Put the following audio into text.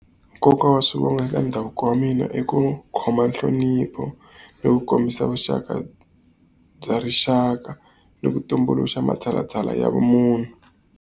Nkoka wa swivongo eka ndhavuko wa mina i ku khoma nhlonipho, ni ku kombisa vuxaka bya rixaka, ni ku tumbuluxa matshalathsala ya vumunhu.